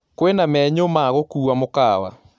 kwĩna menyu ya gũkũwa mũkawa